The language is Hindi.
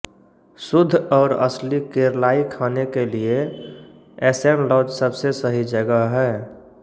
शुद्ध और असली केरलाई खाने के लिए एसएन लॉज सबसे सही जगह है